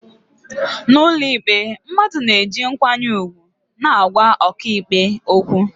n'ụlọikpe, mmadụ na-eji nkwanye ùgwù na-agwa ọkàikpe okwu